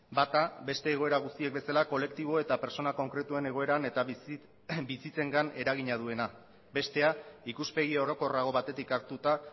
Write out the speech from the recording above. bata beste egoera guztiek bezala kolektibo eta pertsona konkretuen egoeran eta bizitzengan eragina duena bestea ikuspegi orokorrago batetik hartuta